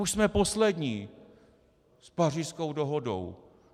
Už jsme poslední s Pařížskou dohodou!